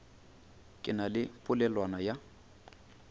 ke na le polelwana ya